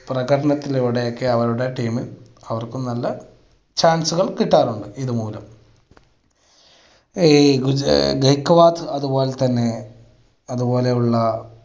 പ്രകടനത്തിലൂടെയൊക്കെ അവരുടെ team അവർക്കും നല്ല chance കൾ കിട്ടാറുണ്ട് ഇത് മൂലം. ഈ അത് പോലെ തന്നെ അത് പോലെയുള്ള